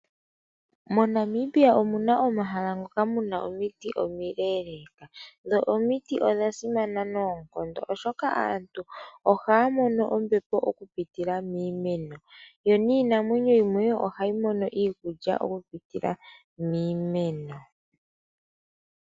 Monamibia omuna omahala ngoka muma omiti omileleeka ,dho omiti odhasimana noonkondo oshoka aantu ohaya mono ombepo oku pitila miimeno, yo niinamwenyo yimwe ohayi mono iikulya oku pitila miimeno.